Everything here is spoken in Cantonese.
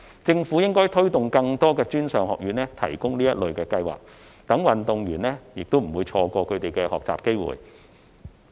政府應該推動更多專上院校提供這類計劃，讓運動員不會錯失學習機會。